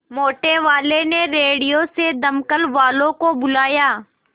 मोटेवाले ने रेडियो से दमकल वालों को बुलाया